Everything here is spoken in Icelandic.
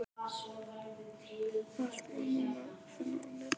Allt má nú finna á netinu!